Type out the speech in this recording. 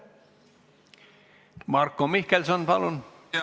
Marko Mihkelson, palun!